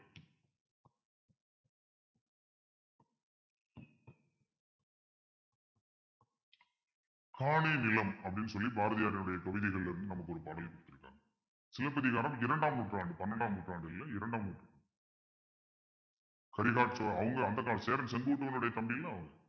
காணொளி நிலம் அப்பிடின்னு சொல்லி பாரதியாருடைய தொகுதிகள்ல இருந்து நமக்கு ஒரு பாடல் கேட்டருக்காங்க சிலப்பதிகாரம் இரண்டாம் நூற்றாண்டு பன்னிரண்டாம் நூற்றாண்டு இல்லை இரண்டாம் நூற்றாண்டு அவங்க அந்த காலம் சேரன் செங்குட்டுவனுடைய தம்பி இல்ல அவங்க